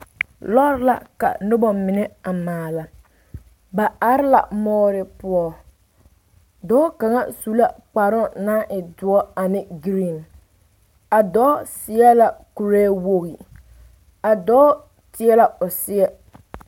Lɔɛ la ka noba mine a maala ba are la moore poɔ dɔɔ kaŋ su la kparoo naŋ e doɔ ane geree ka dɔɔ seɛ la kuree wogi ka dɔɔ tie la o seɛ